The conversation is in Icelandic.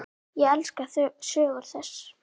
Ég elska sögur þess.